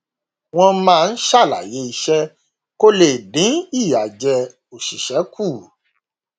wọn máa ń ṣàlàyé iṣẹ kó le dín ìyàjẹ oṣìṣẹ kù